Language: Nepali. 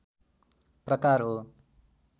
प्रकार हो